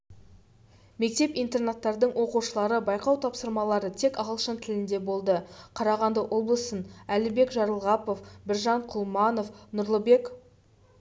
мектеп-интернаттардың оқушылары байқау тапсырмалары тек ағылшын тілінде болды қарағанды облысын әлібек жарылғапов біржан құлманов нұрлыбек